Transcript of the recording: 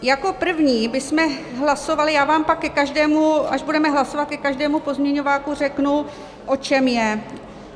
Jako první bychom hlasovali - já vám pak ke každému, až budeme hlasovat, ke každému pozměňováku řeknu, o čem je.